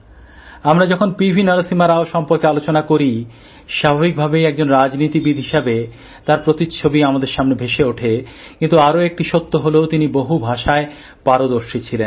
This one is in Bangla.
আমরা যখন পিভি নরসিংহ রাও সম্পর্কে আলোচনা করি স্বাভাবিকভাবেই একজন রাজনীতিবিদ হিসাবে তাঁর প্রতিচ্ছবি আমাদের সামনে ভেসে ওঠে কিন্তু আরও একটি সত্য হলো তিনি বহু ভাষায় পারদর্শী ছিলেন